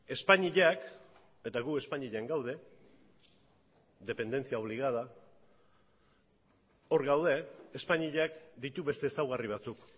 espainiak eta gu espainian gaude dependencia obligada hor gaude espainiak ditu beste ezaugarri batzuk